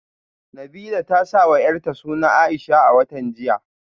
Nabilah ta sawa yarta suna Aisha a watan jiya